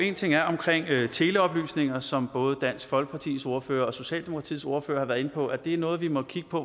ene ting er omkring teleoplysninger som både dansk folkepartis ordfører og socialdemokratiets ordfører har været inde på og det er noget vi må kigge på